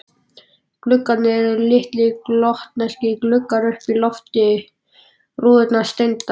Gluggarnir eru litlir gotneskir gluggar uppi undir lofti rúðurnar steindar.